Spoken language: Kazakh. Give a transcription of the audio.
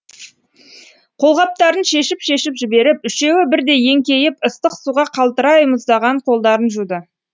қолғаптарын шешіп шешіп жіберіп үшеуі бірдей еңкейіп ыстық суға қалтырай мұздаған қолдарын жуды